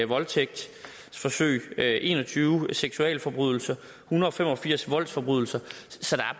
voldtægtsforsøg en og tyve seksualforbrydelser en hundrede og fem og firs voldsforbrydelser så